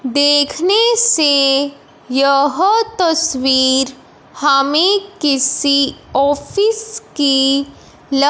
देखने से यह तस्वीर हमें किसी ऑफिस की ल--